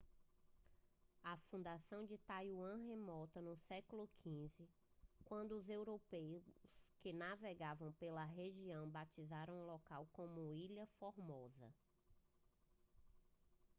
a fundação de taiwan remonta ao século xv quando europeus que navegavam pela região batizaram o local como ilha formosa